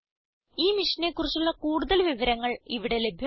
ഈ മിഷനെ കുറിച്ചുള്ള കൂടുതൽ വിവരങ്ങൾ ഇവിടെ ലഭ്യമാണ്